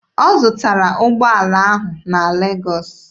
Ọ zụtara ụgbọala ahụ na Legọọsị.